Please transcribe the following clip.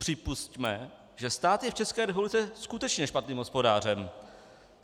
Připusťme, že stát je v České republice skutečně špatným hospodářem.